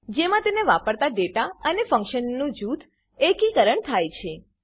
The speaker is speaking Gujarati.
જેમાં તેને વાપરતા ડેટા અને ફંકશનનું જૂથમાં એકીકરણ થાય છે